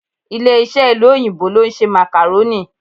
Ilé-iṣẹ́ ìlú òyìnbó ló ń ṣe Macarorni